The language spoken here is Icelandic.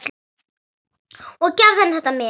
Og gefðu henni þetta men.